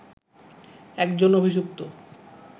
একজন অভিযুক্ত